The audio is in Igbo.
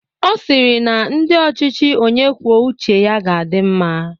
Ọ sịrị na ndi ochịchị onye kwuo uche ya ga-adị mma.